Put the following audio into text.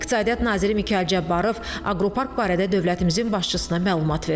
İqtisadiyyat naziri Mikayıl Cabbarov aqropark barədə dövlətimizin başçısına məlumat verdi.